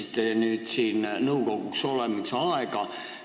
Te meenutasite nõukogus olemise aega.